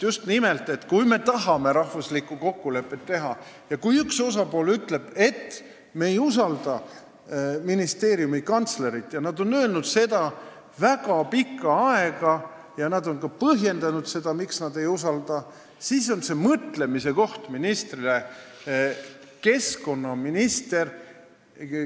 Just nimelt, kui me tahame üldrahvalikku kokkulepet teha ja kui üks osapool ütleb, et me ei usalda ministeeriumi kantslerit – nad on öelnud seda väga pikka aega ja nad on ka põhjendanud, miks nad teda ei usalda –, siis on see mõtlemise koht keskkonnaministrile.